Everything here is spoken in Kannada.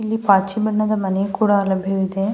ಇಲ್ಲಿ ಪಾಚಿ ಬಣ್ಣದ ಮನೆ ಕೂಡ ಲಭ್ಯವಿದೆ.